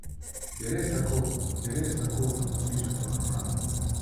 Je res tako, kot pišete v romanu?